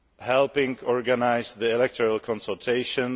helping organise the electoral consultations